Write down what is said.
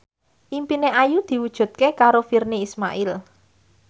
impine Ayu diwujudke karo Virnie Ismail